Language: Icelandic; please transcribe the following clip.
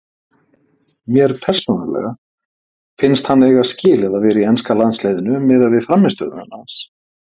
Mér persónulega finnst hann eiga skilið að vera í enska landsliðinu miðað við frammistöðu hans.